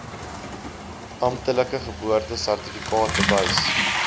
amptelike geboortesertifikaat bewys